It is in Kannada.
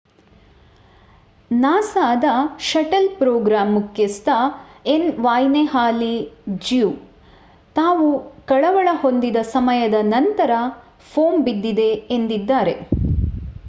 ನಾಸಾದ ಶಟಲ್ ಪ್ರೋಗ್ರಾಮ್ ಮುಖ್ಯಸ್ಥ ಎನ್ ವಾಯ್ನೆ ಹಾಲೆ ಜ್ಯೂ ನಾವು ಕಳವಳ ಹೊಂದಿದ ಸಮಯದ ನಂತರ ಫೋಮ್ ಬಿದ್ದಿದೆ ಎಂದಿದ್ದಾರೆ